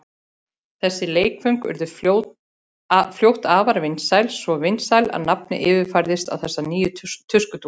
Þessi leikföng urðu fljótt afar vinsæl, svo vinsæl að nafnið yfirfærðist á þessar nýju tuskudúkkur.